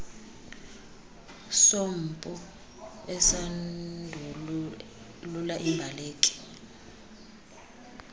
sompu esindulula imbaleki